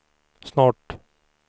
snart